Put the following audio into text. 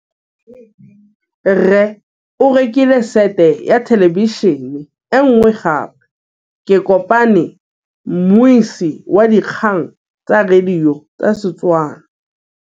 Rre o rekile sete ya thêlêbišênê e nngwe gape. Ke kopane mmuisi w dikgang tsa radio tsa Setswana.